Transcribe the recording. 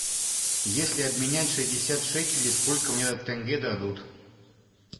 если обменять шестьдесят шекелей сколько мне тенге дадут